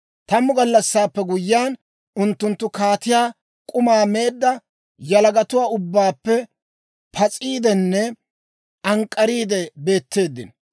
Tammu gallassaappe guyyiyaan unttunttu, kaatiyaa k'umaa meedda yalagatuwaa ubbaappe pas'iidenne ank'k'ariide beetteeddino.